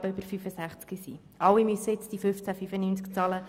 Sie alle müssen 15.95 Franken bezahlen.